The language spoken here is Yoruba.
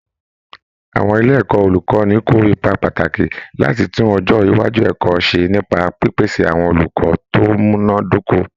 Àwọn ilé ẹ̀kọ́ olùkọ́ni kó ipa pàtàkì láti tún ọjọ́ iwájú ẹ̀kọ́ ṣe nípa pípèsè àwọn olùkọ́ tó múná dóko